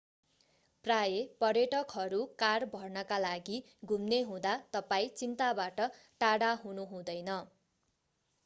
प्रायः पर्यटकहरू कार भर्नका लागि घुम्ने हुँदा तपाईं चिन्ताबाट टाढा हुनु हुँदैन